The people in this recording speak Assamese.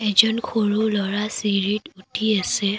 এজন সৰু ল'ৰা চিৰিত উঠি আছে।